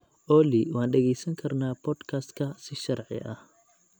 olly waan dhagaysan karnaa podcast-ka si sharci ah